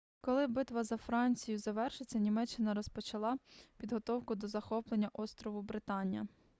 коли битва за францію завершилася німеччина розпочала підготовку до захоплення острову британія